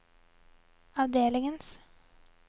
avdelingens